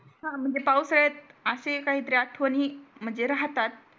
हा म्हणजे पावसाळ्यात असे काहीतरी आठवणी म्हणजे राहतात